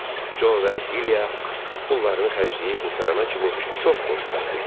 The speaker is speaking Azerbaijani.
Co və Dilya pullarını xərcləyib qurtarana kimi çox xoşbəxt idilər.